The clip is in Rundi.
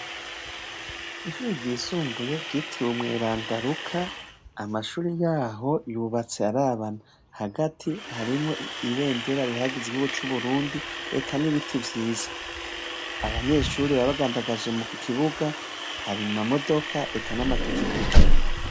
Ishure ryisumbuye ryitiriwe umweranda Luka, amashuri yaho yubatse arabana . Hagati harimwo ibendera rihayagiza igihugu c' Uburundi eka n' ibiti vyiza. Abanyeshuri baba bagandagaje mu kibuga ,hari amamodoka eka n' amapikipiki.